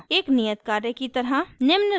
एक नियत कार्य की तरह